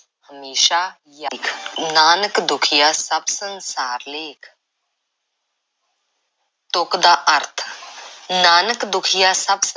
ਹਮੇਸ਼ਾ ਯਾਦ, ਨਾਨਕ ਦੁਖੀਆ ਸਭ ਸੰਸਾਰ ਲੇਖ਼ ਤੁਕ ਦਾ ਅਰਥ, ਨਾਨਕ ਦੁਖੀਆ ਸਭ